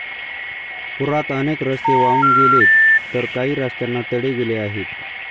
पुरात अनेक रस्ते वाहून गेलेत तर काही रस्त्यांना तडे गेले आहेत.